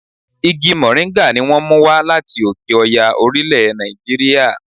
Igi mòríńgà ni wón mú wá láti òkè Ọya orílẹ̀ Nàìjíríà.